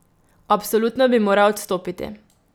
Absolutno bi morali odstopiti.